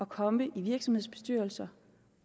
komme i virksomhedsbestyrelser